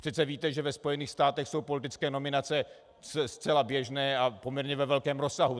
Přece víte, že ve Spojených státech jsou politické nominace zcela běžné a poměrně ve velkém rozsahu.